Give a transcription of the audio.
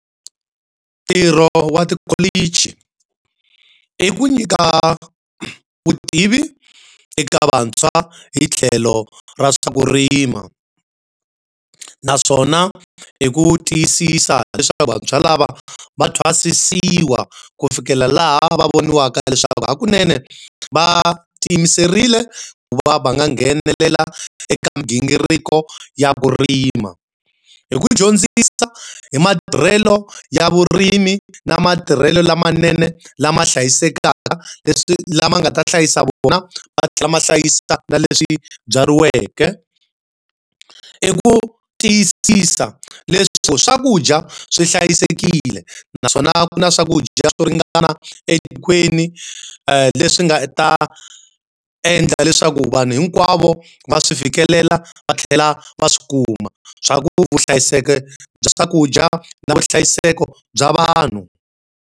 Ntirho wa tikholichi. I ku nyika vutivi eka vantshwa hi tlhelo ra swa ku rima naswona hi ku tiyisisa leswaku vantshwa lava va twa thwasisiwa ku fikela laha va voniwaka ya leswaku hakunene va tiyimiserile ku va va nga nghenelela eka migingiriko ya vurimi. Hi ku hi dyondzisa hi matirhelo ya vurimi na matirhelo lamanene lama hlayisekaka leswi lama nga ta hlayisa vona ma tlhela ma hlayisa na leswi byariweke. I ku tiyisisa leswaku swakudya swi hlayisekile naswona ku na swakudya swo ringana etikweni leswi nga ta endla leswaku vanhu hinkwavo va swi fikelela va tlhela va swi kuma. Swa ku vuhlayiseki bya swakudya na vuhlayiseki bya vanhu.